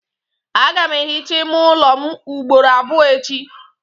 Aga m ehicha ime ụlọ m ugboro abụọ echi.